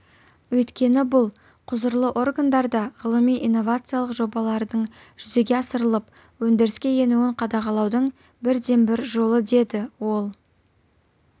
өйткені бұл құзырлы органдарда ғылыми-инновациялық жобалардың жүзеге асырылып өндіріске енуін қадағалаудың бірден-бір жолы деді ол